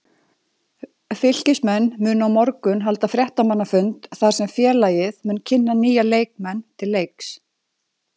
Fylkismenn munu á morgun halda fréttamannafund þar sem félagið mun kynna nýja leikmenn til leiks.